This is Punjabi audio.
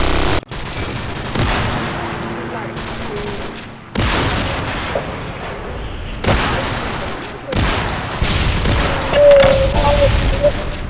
ਮੈਂ ਜਾਣੀ ਹੁੰਦੀ ਆ ਲੜ ਕੇ ਉਹ ਮੈਨੂੰ ਥੋੜੀ ਜਾਣ ਦਿੰਦਾ।